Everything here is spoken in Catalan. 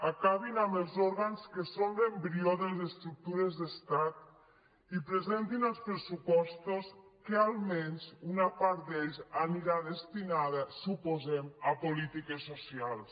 acabin amb els òrgans que són l’embrió de les estructures d’estat i presentin els pressupostos que almenys una part d’ells anirà destinada suposem a polítiques socials